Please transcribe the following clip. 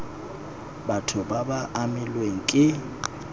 batho ba ba amilweng ke